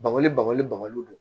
Bako bagali babaliw don